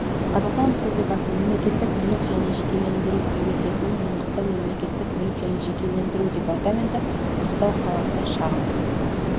қазақстан республикасы мемлекеттік мүлік және жекешелендіру комитетінің маңғыстау мемлекеттік мүлік және жекешелендіру департаменті ақтау қаласы шағын